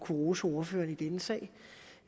rose ordføreren i denne sag